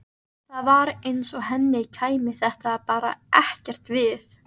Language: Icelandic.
Það var eins og henni kæmi þetta bara ekkert við.